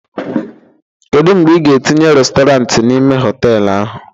Kedu mgbe ị ga-etinye restọrant n'ime họtelu ahụ?